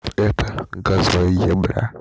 это газваебэ